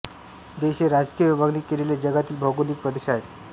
देश हे राजकीय विभागणी केलेले जगातील भौगोलिक प्रदेश आहेत